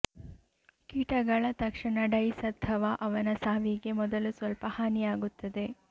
ಕೀಟಗಳ ತಕ್ಷಣ ಡೈಸ್ ಅಥವಾ ಅವನ ಸಾವಿಗೆ ಮೊದಲು ಸ್ವಲ್ಪ ಹಾನಿಯಾಗುತ್ತದೆ